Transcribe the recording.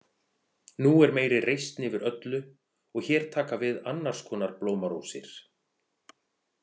Nú er meiri reisn yfir öllu og hér taka við annars konar blómarósir.